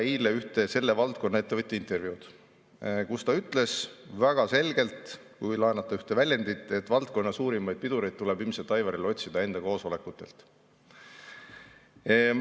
Lugesin eile ühte selle valdkonna ettevõtja intervjuud, kus ta ütles väga selgelt, kui laenata ühte väljendit, et valdkonna suurimaid pidureid tuleb Aivaril ilmselt otsida enda koosolekutelt.